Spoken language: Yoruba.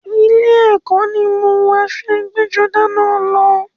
Ilé ẹkọ ni mo wọ aṣọ ẹgbẹ́-jọdá náà lọ.